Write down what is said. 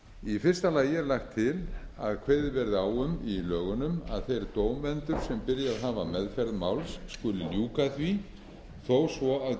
í fyrsta lagi er lagt til að kveðið verði á um í lögunum að þeir dómendur sem byrjað hafa meðferð máls skuli ljúka því þó svo